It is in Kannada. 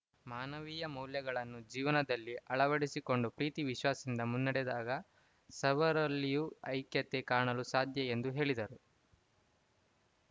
ಮಾನವೀಯ ಮೌಲ್ಯಗಳನ್ನು ಜೀವನದಲ್ಲಿ ಅಳವಡಿಸಿಕೊಂಡು ಪ್ರೀತಿ ವಿಶ್ವಾಸದಿಂದ ಮುನ್ನಡೆದಾಗ ಸರ್ವರಲ್ಲಿಯೋ ಐಕ್ಯತೆ ಕಾಣಲು ಸಾಧ್ಯ ಎಂದು ಹೇಳಿದರು